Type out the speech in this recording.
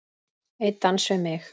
Einn dans við mig